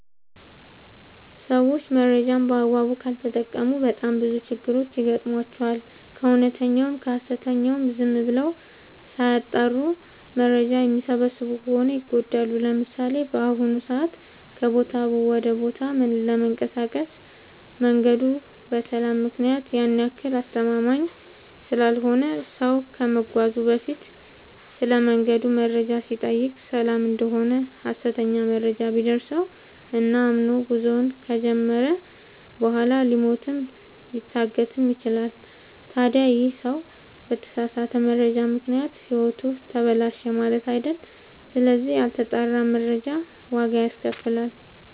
ሰዎች መረጃን በአግባቡ ካልተጠቀሙ በጣም ብዙ ችግሮች ይገጥሟቸዋል። ከእውነተኛውም ከሀሰተኛውም ዝም ብለው ሳያጠሩ መረጃ የሚሰበስቡ ከሆነ ይጎዳሉ። ለምሳሌ፦ በአሁኑ ሰዓት ከቦታ ወደ ቦታ ለመንቀሳቀስ መንገዱ በሰላም ምክንያት ያን ያክል አስተማመምኝ ስላልሆነ ሰው ከመጓዙ በፊት ስለመንገዱ መረጃ ሲጠይቅ ሰላም እደሆነ ሀሰተኛ መረጃ ቢደርሰው እና አምኖ ጉዞውን ከጀመረ በኋላ ሊሞትም ሊታገትም ይችላል። ታዲ ይህ ሰው በተሳሳተ መረጃ ምክንያት ህይወቱ ተበላሸ ማለት አይደል ስለዚህ ያልተጣራ መረጃ ዋጋ ያስከፍላል።